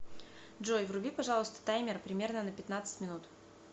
джой вруби пожалуйста таймер примерно на пятнадцать минут